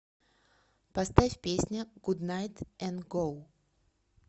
поставь песня гуднайт эн гоу